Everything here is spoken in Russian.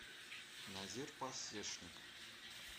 назир пасешник